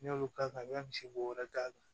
N'i y'olu k'a kan i bɛ misi bo wɛrɛ k'a kan